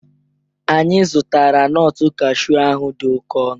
Anyị zụtara nut cashew ahụ dị oke ọnụ